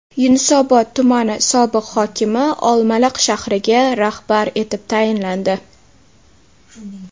Yunusobod tumani sobiq hokimi Olmaliq shahriga rahbar etib tayinlandi.